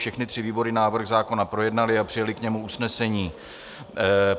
Všechny tři výbory návrh zákona projednaly a přijaly k němu usnesení.